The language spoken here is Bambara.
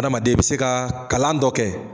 Adamaden e be se ka kalan dɔ kɛ